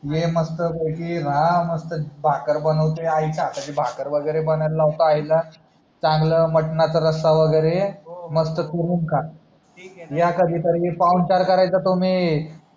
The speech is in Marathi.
ये मस्त पैकी राह मस्त भाकर वागरे बनवते आई च्या हाताची भाकर वगेरे बनवायला लावतो आई ला चांगल मटणाचा रसा वगेरे मस्त चुरून खा या कधी तरी पाहूनचार करायचा तुम्ही